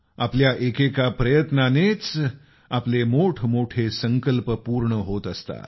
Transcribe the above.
आपल्या एकेका प्रयत्नातूनच आपले मोठमोठे संकल्प पूर्ण होत असतात